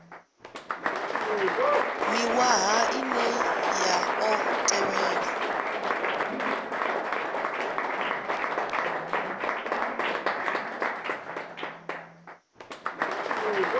miṅwaha ine ya ḓo tevhela